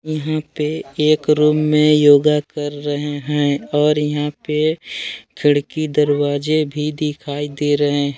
यहां पे एक रूम में योगा कर रहे हैं। और यहां पे खिड़की दरवाजे भी दिखाई दे रहे हैं।